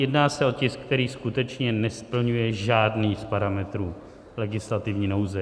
Jedná se o tisk, který skutečně nesplňuje žádný z parametrů legislativní nouze.